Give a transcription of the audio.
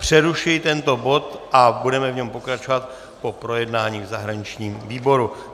Přerušuji tento bod a budeme v něm pokračovat po projednání v zahraničním výboru.